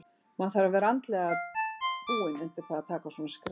Maður þarf að vera andlega búinn undir það að taka svona skref.